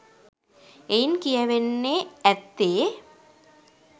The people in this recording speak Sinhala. එයින් කියැවෙන්නේ ඇත්තේ